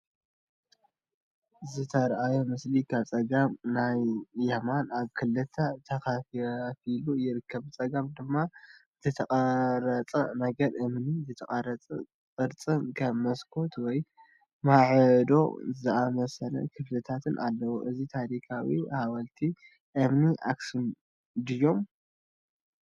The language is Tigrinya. ዝተርኣየ ምስሊ ካብ ጸጋም ናብ የማን ኣብ ክልተ ተኸፋፊሉ ይርከብ። ብጸጋም ድማ ዝተቐርጸ ነገር እምኒ፡ ዝተቐርጸ ቅርጽን ከም መስኮት ወይ ማዕጾ ዝኣመሰሉ ክፍልታትን ኣለውዎ። እዚ ታሪኻዊ ሓወልትታት እምኒ ኣክሱም ድዮም?